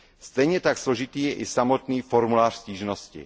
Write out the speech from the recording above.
Stejně tak složitý je i samotný formulář stížnosti.